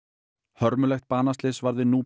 hörmulegt banaslys varð við